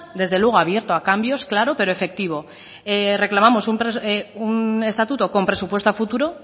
desde luego abierto a cambios claro pero efectivo reclamamos un estatuto con presupuesto a futuro